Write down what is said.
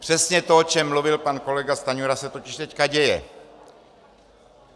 Přesně to, o čem mluvil pan kolega Stanjura, se totiž teď děje.